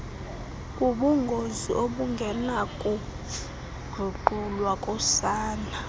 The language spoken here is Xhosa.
ubungozi obungenakuguqulwa kusana